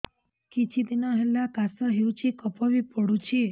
କିଛି ଦିନହେଲା କାଶ ହେଉଛି କଫ ବି ପଡୁଛି